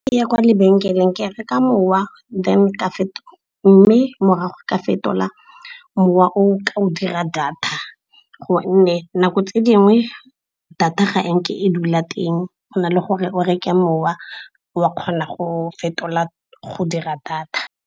Fa ke ya kwa lebenkeleng ke reka mowa mme morago ka fetola mowa o ka o dira data, gonne nako tse dingwe data ga e nke e dula teng. Go na le gore o reke mowa wa kgona go fetola go dira data.